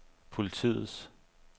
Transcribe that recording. politiets